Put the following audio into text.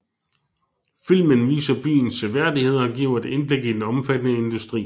Filmen viser byens seværdigheder og giver et indblik i den omfattende industri